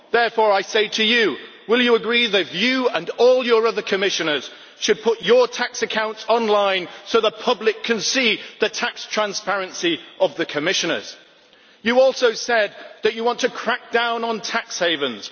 Therefore I say to you will you agree that you and all your other Commissioners should put your tax accounts online so that the public can see the tax transparency of the Commissioners? You also said that you want to crack down on tax havens.